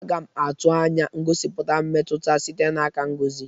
Aga m atụ anya ngosipụta mmetụta sitere n'aka Ngozi.